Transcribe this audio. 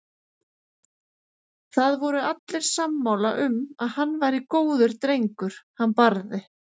Það voru allir sammála um að hann væri góður drengur hann Barði.